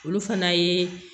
Olu fana ye